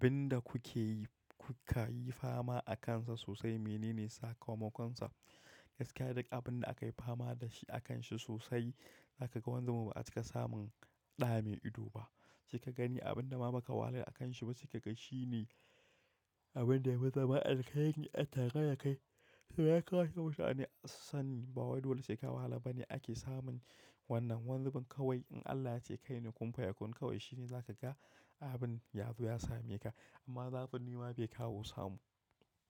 Abin da kuke yi, kuka yi fama akansa sosai, menene sakamakonsa? Gaskiya duk abin da aka yi fama da shi akanshi sosai, zaka ga wanzu ba a cika samun ɗa mai ido ba. Sai kagani abinda ma baka wahala akanshi ba sai kaga shi ne abin da ya fi zama alkhairi a tare dakai to ya kamata a sani, ba wai dole sai ka wahala bane ake samun wannan. Wani zubin kawai in Allah ya ce kai ne kumfayakun kawai shi ne za ka ga abin yazo ya same ka. Amma zafin nema bai kawo samu.